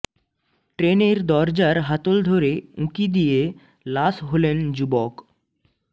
ট্রেনের দরজার হাতল ধরে উঁকি দিয়ে লাশ হলেন যুবক